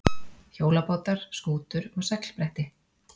Hjólabátar, skútur og seglbretti.